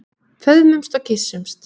Föðmumst og kyssumst.